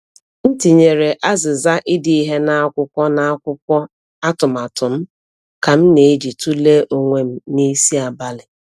M tinyere azịza ide ihe n’akwụkwọ n’akwụkwọ atụmatụ m ka m na-eji tụlee onwe m n’isi abalị.